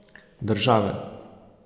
Države.